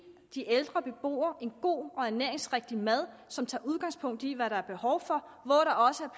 de ældre beboere en god og ernæringsrigtig mad som tager udgangspunkt i hvad der er behov for